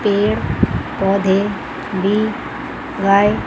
पेड़ पौधे भी --